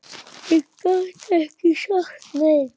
Ég gat ekki sagt nei.